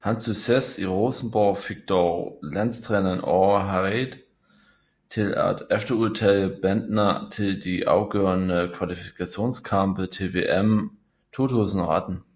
Hans succes i Rosenborg fik dog landstræner Åge Hareide til at efterudtage Bendtner til de afgørende kvalifikationskampe til VM 2018